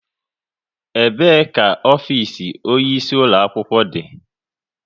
Ebe ka ofisi onye isi ulo akwụkwọ dị?